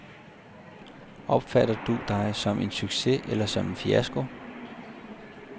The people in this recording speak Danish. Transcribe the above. Opfatter du dig som en succes eller som en fiasko.